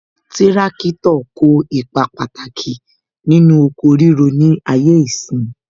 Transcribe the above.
Tirakitọ kó ipa pàtàkì nínú oko ríro ni ayé ìsín